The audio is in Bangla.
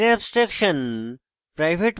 private member